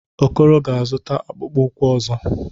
Okoro ga-azụta akpụkpọ ụkwụ ọzọ.